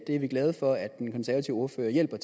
det er vi glade for at den konservative ordfører hjælper